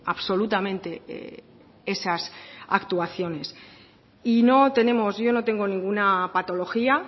absolutamente esas actuaciones y no tenemos yo no tengo ninguna patología